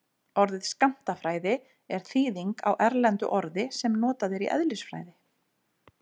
Orðið skammtafræði er þýðing á erlendu orði sem notað er í eðlisfræði.